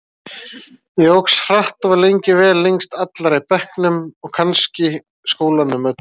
Ég óx hratt og var lengi vel lengst allra í bekknum og kannski skólanum öllum.